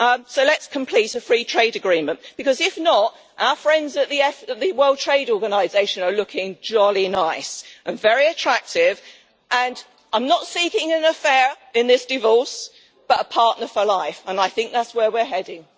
So let's complete a free trade agreement, because if not, our friends at the World Trade Organization are looking jolly nice and very attractive, and I am not seeking an affair in this divorce but a partner for life, and I think that is where we are heading.